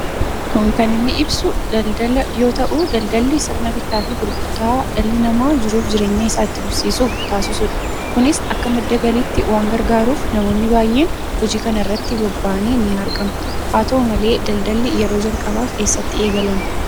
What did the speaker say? Kun kan inni ibsu daldala yoo ta'u daldalli sirna bittaa fi gurgurtaa dhalli namaa jiruu fi jireenya isaa itti fufsiisuuf taasisudha. kunis akka madda galiitti waan gargaaruuf namoonni baay'een hojii kanarratti bobba'anii ni argamu. Haa ta'u malee daldalli yeroo jalqabaaf eessatti eegalame?